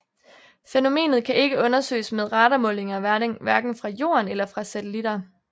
Fænomenet kan ikke undersøges med radarmålinger hverken fra Jorden eller fra satellitter